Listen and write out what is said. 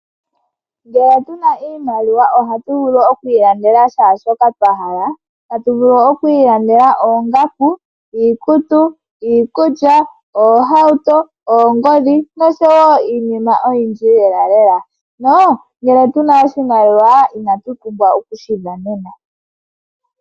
Ngele tuna iimaliwa ohatu vulu oku ilandela shaa shoka twa hala . Tatu vulu okwiilandela oongaku, iikutu , iikulya, oohauto ,oongodhi nosho woo iinima oyindji lela lela . No ngele tuna oshimaliwa inatu pumbwa okushi dhanena .